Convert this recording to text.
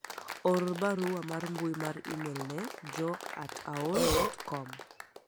or barua mar mbui mar email ne joe at aol dot kom